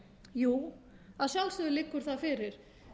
jú að sjálfsögðu liggur það fyrir